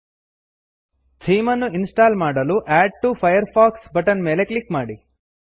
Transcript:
theme ಅನ್ನುಇನ್ ಸ್ಟಾಲ್ ಮಾಡಲು add to Firefox add to Firefox button ಮೇಲೆ ಕ್ಲಿಕ್ ಮಾಡಿ